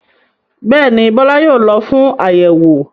Bẹ́ẹ̀ ni, Bọ́lá yóò lọ fún àyẹ̀wò?